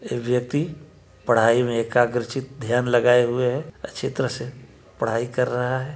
ये व्यक्ति पढ़ाई में एकाग्र-चित्त ध्यान लगाए हुए है अच्छी तरह से पढ़ाई कर रहा है।